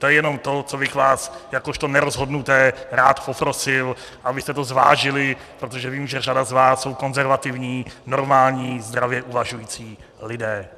To je jenom to, co bych vás jakožto nerozhodnuté rád poprosil, abyste to zvážili, protože vím, že řada z vás jsou konzervativní, normální, zdravě uvažující lidé.